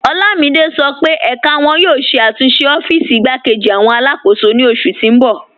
Olamide sọ pe ẹká wọn yóò ṣẹ̀ àtúnṣe ọ́fíìsì ìgbàkẹ̀jì awọn aláàkọ́sò ni oṣù tì n bọ̀.